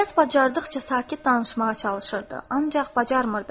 İlyas bacardıqca sakit danışmağa çalışırdı, ancaq bacarmırdı.